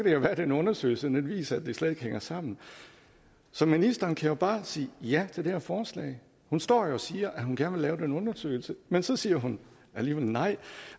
at den undersøgelse viser at det slet ikke hænger sammen så ministeren kan jo bare sige ja til det her forslag hun står jo og siger at hun gerne vil lave den undersøgelse men så siger hun alligevel nej